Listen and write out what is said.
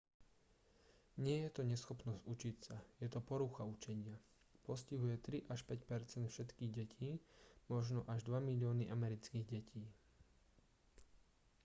nie je to neschopnosť učiť sa je to porucha učenia postihuje 3 až 5 percent všetkých detí možno až 2 milióny amerických detí